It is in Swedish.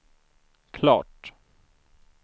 klart